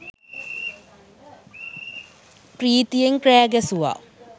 පී්‍රතියෙන් කෑ ගැසුවා